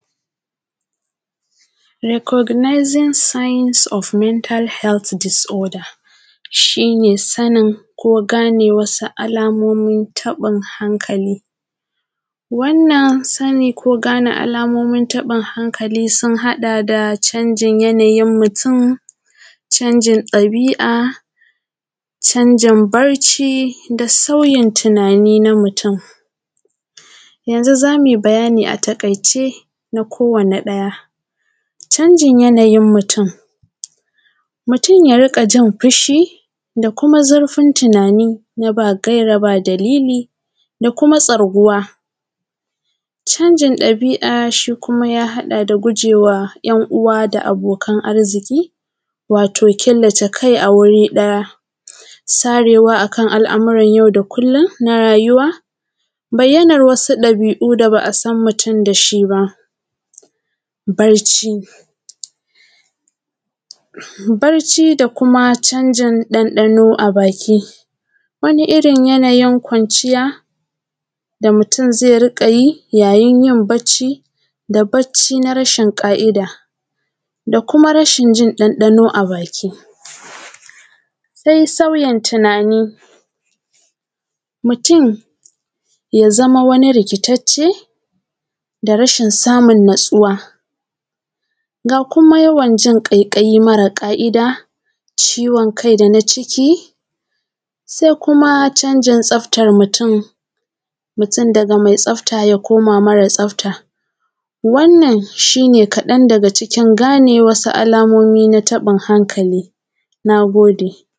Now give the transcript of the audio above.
Recognizing signs of mental health disorderˋ, shi ne sanin ko ganeˋ wasuˋ alamomin taɓin hankaliˋ.Wannan saniˋ koˋ ganeˋ alamon taɓin hankaliˋ sun haɗaˋ da, can jin yanaˋ yin mutum caan jin dabi’a can jin Can jin yanaˋ yin mutum, mutum ya rinƙaˋ jin fushi da kumaˋ zurfin tunaniˋ na ba gairaˋ ba daliliˋ, da kumaˋ tsarguwaˋ. Can jin dabi’a shi kumaˋ ya haɗaˋ da gujewaˋ ‘yan uwa da abokan arziki watoˋ (killaceˋ kai a wuriˋ ɗayaˋ) sarewaˋ akan al’muran yau daˋ kullum na rayuwaˋ, bayyanan wasuˋ dabi’u da ba’a san mutum dashˋi ba Barciˋ, barciˋ da kumaˋ can jin dandanoˋ a bakiˋ waniˋ irin yanaˋ yin kwanciyaˋ da mutum ze riƙaˋ yi yaˋ yin barciˋ da barciˋ na rashin ƙa’idaˋ, da kumaˋ rashin jin an ɗanɗan a bakiˋ. Sai sauyin tunaniˋ, mutum yaˋ zamaˋ waniˋ rikittaceˋ, da rashin samun natsuwaˋ, ga kumaˋ yawan jin ƙaiƙayiˋ maraˋ ka’idaˋ, ciwon kai danaˋ cikiˋ, sai kumaˋ can jin tsaftan mutum, mutum dagaˋ mai tsaftaˋ ya komaˋ mareˋ tsaftaˋ. Wannan shi ne kaɗan dagaˋ cikin ganeˋ wasuˋ alamomiˋ na taɓin hankaliˋ.Na godeˋ.